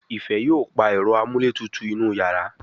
Ifẹ yóò pá Ẹ̀rọ amúlétutù inú iyàrá